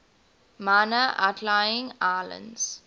minor outlying islands